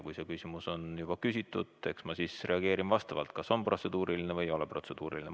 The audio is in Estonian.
Kui küsimus on juba küsitud, siis eks ma reageerin vastavalt sellele, kas oli protseduuriline või ei olnud protseduuriline.